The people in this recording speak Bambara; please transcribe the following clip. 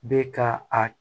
Bɛ ka a